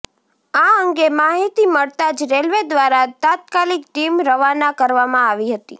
આ અંગે માહિતી મળતા જ રેલવે દ્વારા તાત્કાલિક ટીમ રવાના કરવામાં આવી હતી